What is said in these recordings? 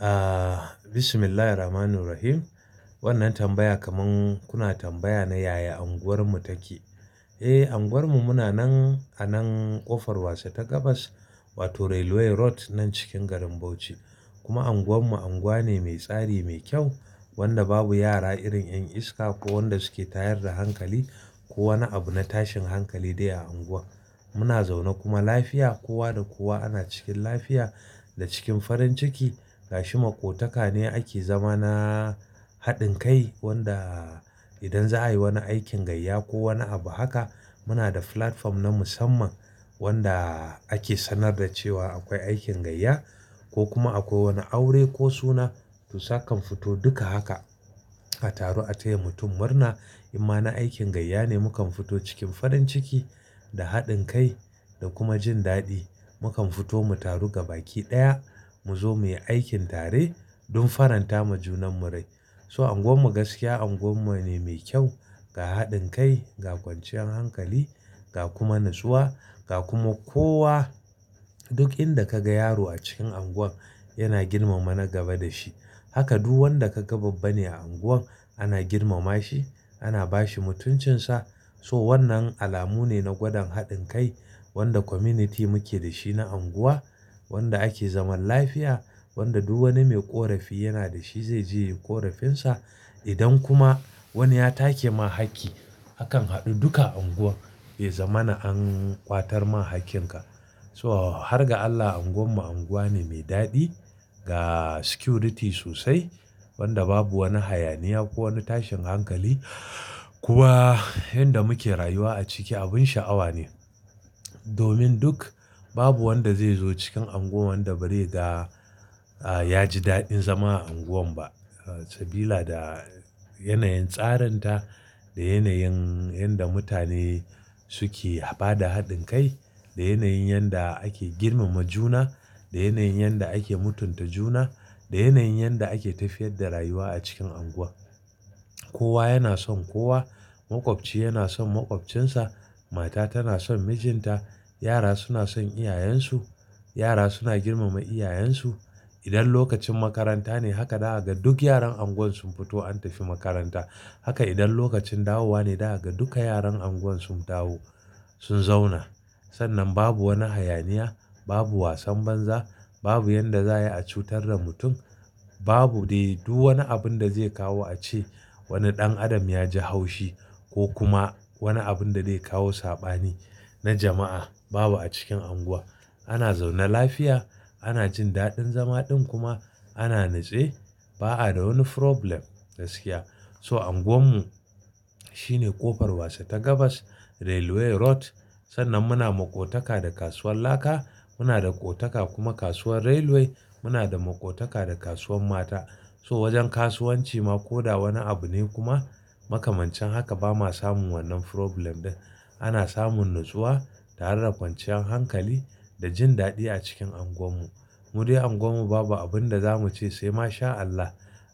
Aah, Bismillahi rrahmani rrahim. Wannan tambaya kaman kuna tambaya ne yaya unguwar mu take. Eh, unguwar mu muna nan a nan ƙofar wace ta gabas, wato Railway road nan cikin garin Bauchi. Kuma unguwar mu unguwa ne mai tsari, mai kyau wanda babu yara irin 'yan iska ko wanda suke tayar da hankali ko wani abu na tashin hankali dai a unguwa. Muna zaune kuma lafiya, kowa da kowa ana cikin lafiya da cikin faranciki. Gashi maƙotaka ne ake zama na haɗin kai wanda idan za a yi wani aikin gayya ko wani abu haka, muna da platform na musamman wanda ake sanar da cewa akwai aikin gayya ko kuma akwai wani aure ko suna to sa kan fito duka haka. A taru a taya mutum murna. Imma na aikin gayya ne, mu kan fito cikin faranciki da haɗin kai da kuma jin daɗi. Mu kan fito mu taru gaba ki ɗaya, mu zo muyi aikin tare don faranta ma junan mu rai. So unguwar mu gaskiya unguwa ne mai kyau ga haɗin kai, ga kwanciyar hankali, ga kuma natsuwa, ga kuma kowa duk inda ka ga yaro a cikin unguwar yana girmama na gaba da shi. Haka duk wanda ka ga babba ne a unguwar ana girmama shi, ana ba shi mutuncinsa. So wannan alamu ne na gwadan haɗin kai wanda community muke da shi na unguwa, wanda ake zaman lafiya, wanda duk wani mai ƙorafi yana da shi zai je yin ƙorafinsa. Idan kuma wani ya take ma hakki, akan haɗu duka unguwar bai zama na an ƙwatar ma hakkin ka. So har ga Allah unguwar mu unguwa ne mai daɗi ga security sosai, wanda babu wani hayaniya ko wani tashin hankali. Kuma inda muke rayuwa a ciki abin sha'awa ne. Domin duk babu wanda zai zo cikin unguwar wanda bari ga ya ji daɗin zama a unguwan ba. Sabila da yanayin tsarinta, da yanayin yanda mutane suke haɓa da haɗin kai, da yanayin yanda ake girmama juna, da yanayin yanda ake mutunta juna, da yanayin yanda ake tafiyar da rayuwa a cikin unguwar. Kowa yana son kowa. Maƙwabci yana son maƙwabcinsa. Mata tana son mijinta. Yara suna son iyayensu. Yara suna girmama iyayensu. Idan lokacin makaranta ne haka za gan duk yaran unguwar sun fito an tafi makaranta. Haka idan lokacin dawowa ne za gan duka yaran unguwar sun dawo sun zauna. Sannan babu wani hayaniya, babu wasan banza, babu yanda za'a yi a cutar da mutum, babu dai duk wani abun da zai kawo a ce wani ɗan adam ya ji haushi ko kuma wani abun da zai kawo saɓani na jama'a babu a cikin unguwar. Ana zauna lafiya, ana jin daɗin zama ɗin kuma ana nace. Ba a da wani problem gaskiya. So unguwar mu shi ne ƙofar wasa ta gabas Railway road. Sannan muna maƙotaka da kasuwar laka. Muna da ƙotaka kuma kasuwar railway. Muna da maƙotaka da kasuwar mata. So wajen kasuwanci ma ko da wani abu ne kuma makamancin haka ba ma samun wannan problem din. Ana samun natsuwa tare da kwanciyar hankali da jin daɗi a cikin unguwar mu. Mu dai unguwar mu babu abun da za mu ce sai ma sha Allah,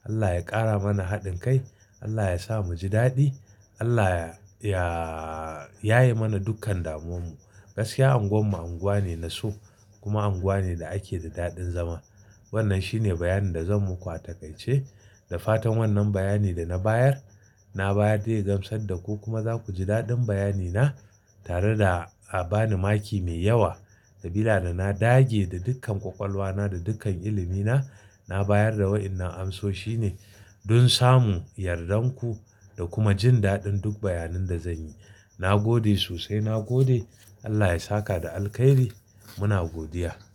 Allah ya ƙara mana haɗin kai, Allah ya sa mu ji daɗi, Allah ya-ya-ya ye mana dukkan damuwarmu. Gaskiya unguwar mu unguwa ne na so kuma unguwa ne da ake da daɗin zama. Wannan shi ne bayani da zan ma ku a takaice. Da fatan wannan bayani da na bayar, na bayar da gamsar da ku kuma za ku ji daɗin bayani na tare da a ba ni maki mai yawa. Sabila da na dage da dukkan ƙwaƙwalwa na, da dukkan ilimi na, na bayar da waɗannan amsoshi ne don samu yardar ku da kuma jin daɗin duk bayanin da zan yi. Na gode sosai, na gode. Allah ya saka da alkhairi. Muna godiya.